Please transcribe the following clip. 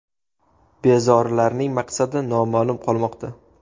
Bezorilarning maqsadi noma’lum qolmoqda.